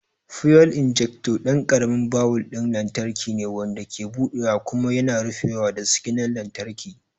Fuel injector ɗan ƙaramin bawul ɗin lantarki ne, wanda ke buɗewa kuma yana rufewa da siginar lantarki.